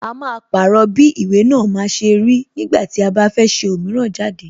A máa pàrọ̀ bí ìwé náà ṣe máa rí ní ìgbà tí a bá fẹ́ ṣe òmíràn jáde.